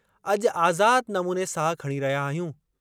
अॼु आज़ाद नमूने साह खणी रहिया आहियूं।